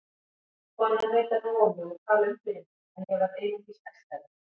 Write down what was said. Konan reyndi að róa mig og tala um fyrir mér en ég varð einungis æstari.